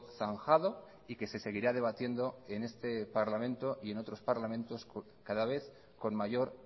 zanjado y que se seguirá debatiendo en este parlamento y en otros parlamentos cada vez con mayor